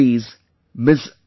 Italy's Ms